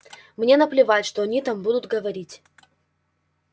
мне наплевать что они там будут говорить